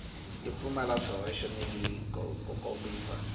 yo pfumala swihoxo ku kombisa